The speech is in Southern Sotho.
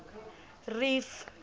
reef